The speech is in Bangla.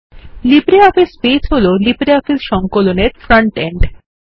লিব্রিঅফিস বাসে হল লিব্রিঅফিস সংকলন এর ফ্রন্ট এন্ড